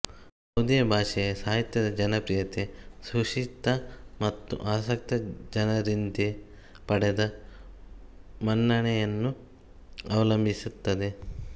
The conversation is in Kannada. ಯಾವುದೇ ಭಾಷೆಯ ಸಾಹಿತ್ಯದ ಜನಪ್ರಿಯತೆ ಸುಶಿಕ್ಷಿತ ಮತ್ತು ಆಸಕ್ತ ಜನರಿಂದೆ ಪಡೆದ ಮನ್ನಣೆಯನ್ನು ಅವಲಂಬಿಸುತ್ತದೆ